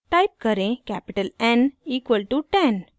type करें: capital n equal to 10